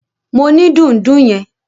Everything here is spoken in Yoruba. Mo ni dùndún yẹn.